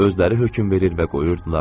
Özləri hökm verir və qoyurdular.